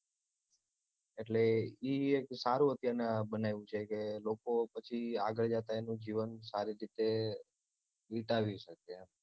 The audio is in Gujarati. એટલે ઈ સારું અત્યારનાં બનાવ્યું છે કે લોકો પછી આગળ જતાં એનું જીવન સારી રીતે વિતાવી શકે